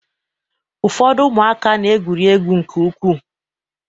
Ụfọdụ ụmụaka na-egwuri egwu nke ukwuu.